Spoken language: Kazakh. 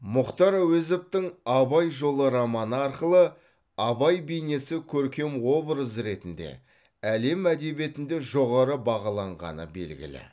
мұхтар әуезовтің абай жолы романы арқылы абай бейнесі көркем образ ретінде әлем әдебиетінде жоғары бағаланғаны белгілі